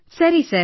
ಸರಿ ಸರ್